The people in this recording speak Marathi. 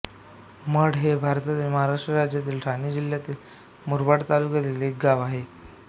मढ हे भारतातील महाराष्ट्र राज्यातील ठाणे जिल्ह्यातील मुरबाड तालुक्यातील एक गाव आहे